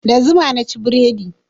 Da zuma naci burodi.